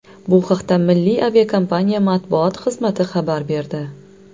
Bu haqda milliy aviakompaniya matbuot xizmati xabar berdi.